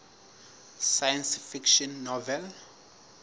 science fiction novel